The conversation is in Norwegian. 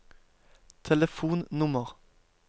telefonnummer